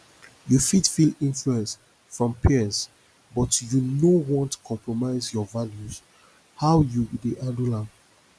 you fit feel influence from peers but you no want compromise your values how you dey handle am